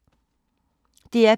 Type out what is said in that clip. DR P3